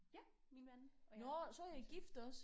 Ja min mand og jeg og min søn